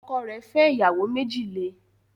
Ọkọ rẹ̀ fẹ́ ìyàwó méjì le